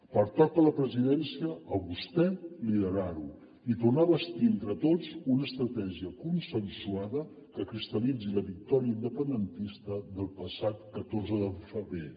pertoca a la presidència a vostè liderar ho i tornar a bastir entre tots una estratègia consensuada que cristal·litzi la victòria independentista del passat catorze de febrer